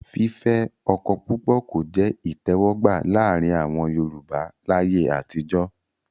fífẹ́ ọkọ púpọ̀ kò jẹ́ ìtẹ̀wọ́gbà láàrin àwọn Yorùbá láyé àtijọ́.